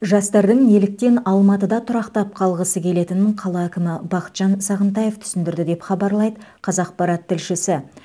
жастардың неліктен алматыда тұрақтап қалғысы келетінін қала әкімі бақытжан сағынтаев түсіндірді деп хабарлайды қазақпарат тілшісі